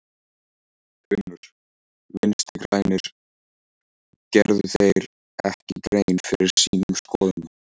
Finnur: Vinstri-grænir, gerðu þeir ekki grein fyrir sínum skoðunum?